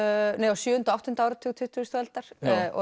á sjöunda og áttunda áratug tuttugustu aldar